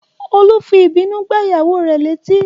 Olú fi ìbínú gbá ìyàwó rè létí